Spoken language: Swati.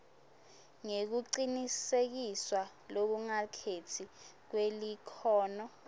nekucinisekiswa lokungakhetsi kwelikhono